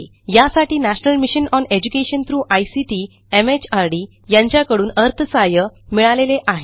यासाठी national mission on education through ICT MHRD यांच्याकडून अर्थसहाय्य मिळालेले आहे